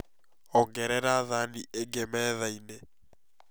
Ongerera thani ĩngĩ metha-inĩ